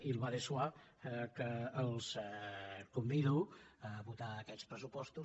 il va de soi que els convido a votar aquests pressupostos